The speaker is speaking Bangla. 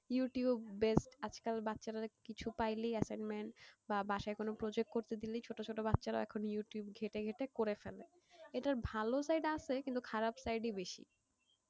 ইউটিউব based আজকাল বাচ্চারা কিছু পাইলেই assignment বা বাসায় কোন project করতে দিলেই ছোট ছোট বাচ্চারাও এখন ইউটিউব ঘেঁটে ঘেঁটে করে ফেলে। এটার ভালো side আছে কিন্তু খারাপ side ই বেশি।